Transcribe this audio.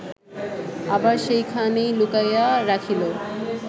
আবার সেইখানেই লুকাইয়া রাখিল